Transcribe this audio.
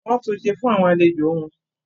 wọ́n tunṣe fún àwọn àlejò wọn.